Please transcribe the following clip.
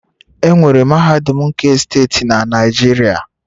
Enwere mahadum nke steeti na Naijiria